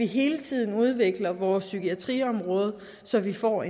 hele tiden udvikle vores psykiatriområde så vi får